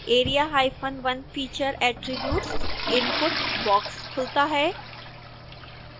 area1 feature attributes input box खुलता है